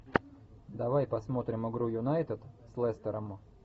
давай посмотрим игру юнайтед с лестером